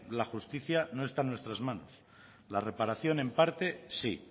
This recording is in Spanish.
la justicia no está en nuestras manos la reparación en parte sí